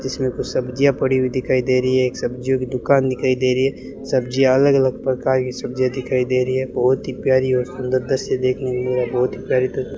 इसमें कुछ सब्जियां पड़ी हुई दिखाई दे रही है एक सब्जियों की दुकान दिखाई दे रही है सब्जियां अलग अलग प्रकार की सब्जियां दिखाई दे रही है बहोत ही प्यारी और सुंदर दृश्य देखने को मिल रहा बहोत ही प्यारी --